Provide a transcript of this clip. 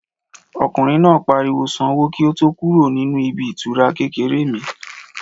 Ọkùnrin náà pariwo Sanwó kí o tó kúrò nínú ibi ìtura kékeré mi